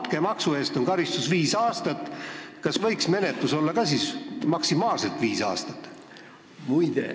Kui näiteks altkäemaksu eest on karistuseks ette nähtud viis aastat vanglat, kas siis võiks ka menetlus kesta maksimaalselt viis aastat?